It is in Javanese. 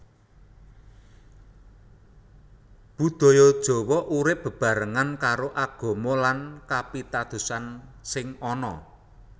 Budaya Jawa urip bebarengan karo Agama lan Kapitadosan sing ana